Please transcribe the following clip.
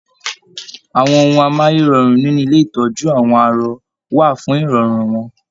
Àwọn ohùn amáyérọrùn nínú ilé itọju àwọn arọ̀ wà fún irọrun wọn.